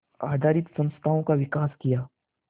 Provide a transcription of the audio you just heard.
आधारित संस्थाओं का विकास किया